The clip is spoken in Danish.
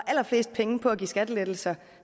allerflest penge på at give skattelettelser